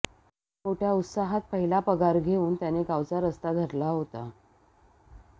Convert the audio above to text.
मोठ्या उत्साहात पहिला पगार घेऊन त्याने गावचा रस्ता धरला होता